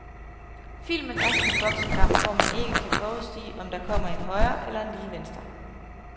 Filmen er som en boksekamp, hvor man ikke kan forudsige, om der kommer en højre eller lige venstre.